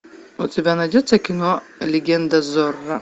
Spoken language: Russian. у тебя найдется кино легенда зорро